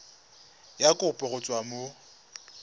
ya kopo go tswa mo